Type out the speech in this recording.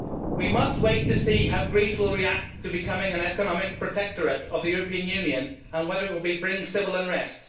We must wait to see how Greece will react to becoming an economic protectorate of the European Union and whether it will bring civil unrest.